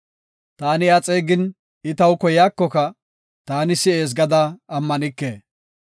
Ta iya xeegin, I taw koyaakoka, tana si7ees gada ammanike.